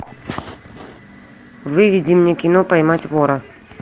выведи мне кино поймать вора